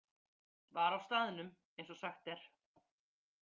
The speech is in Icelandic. Var á staðnum, eins og sagt er.